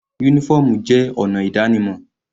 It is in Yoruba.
Uniform jẹ́ ọ̀nà ìdánimọ̀